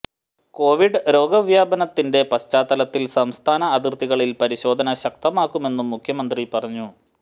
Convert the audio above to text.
Covid രോഗവ്യാപനത്തിന്റെ പശ്ചാത്തലത്തിൽ സംസ്ഥാന അതിർത്തികളിൽ പരിശോധന ശക്തമാക്കുമെന്നും മുഖ്യമന്ത്രി പറഞ്ഞു